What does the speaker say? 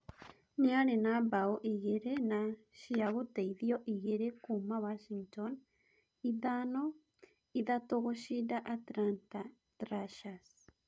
Nĩarĩ na mbao igĩrĩ na cia gũteithio igĩrĩ kuuma Washington ithano - ithatũ gũcinda Atlanta Thrashers